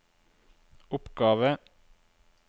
oppgave